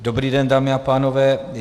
Dobrý den, dámy a pánové.